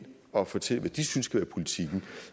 og fortælle hvad de synes skal være politikken